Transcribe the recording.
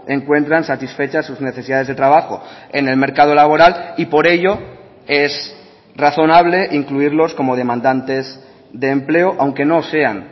encuentran satisfechas sus necesidades de trabajo en el mercado laboral y por ello es razonable incluirlos como demandantes de empleo aunque no sean